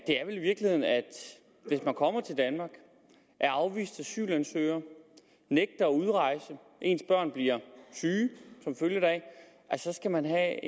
er vel i virkeligheden at hvis man kommer til danmark er afvist asylansøger nægter at udrejse og ens børn bliver syge som følge deraf skal man have